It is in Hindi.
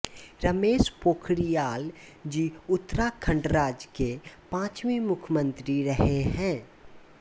रमेश पोखरियाल जी उत्तराखण्ड राज्य के पाँचवे मुख्यमंत्री रहे हैं